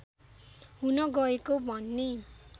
हुन गएको भन्ने